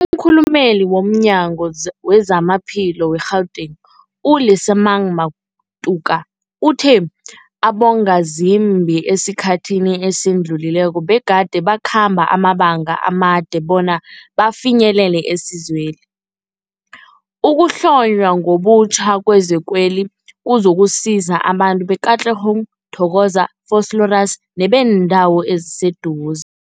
Umkhulumeli womNyango weZamaphilo we-Gauteng, u-Lesemang Matuka uthe abongazimbi esikhathini esidlulileko begade bakhamba amabanga amade bona bafinyelele isizweli. Ukuhlonywa ngobutjha kwezikweli kuzokusiza abantu be-Katlehong, Thokoza, Vosloorus nebeendawo eziseduze.